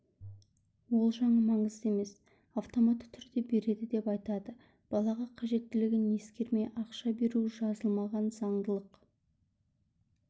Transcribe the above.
ол жағы маңызды емес автоматты түрде береді деп айтады балаға қажеттілігін ескермей ақша беру жазылмаған заңдылық